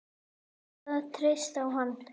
Ég gat treyst á hann.